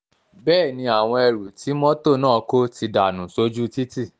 bẹ́ẹ̀ ni àwọn ẹrù tí mọ́tò náà kò ti dànù sójú títì